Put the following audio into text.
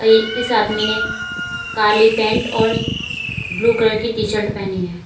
इस आदमी ने काली पैंट और ब्लू कलर की टी शर्ट पहनी है।